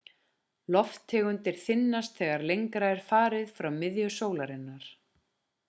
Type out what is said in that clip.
lofttegundin þynnist þegar lengra er farið frá miðju sólarinnar